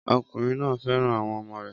Ọkùnrin náà fẹ́ràn àwọn ọmọ rẹ̀